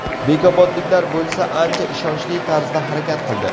Bekobodliklar bo‘lsa ancha ishonchli tarzda harakat qildi.